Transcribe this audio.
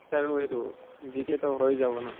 আৰু এইটো GK হৈ যাব ন।